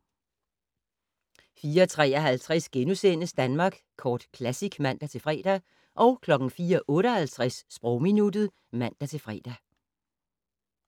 04:53: Danmark Kort Classic *(man-fre) 04:58: Sprogminuttet (man-fre)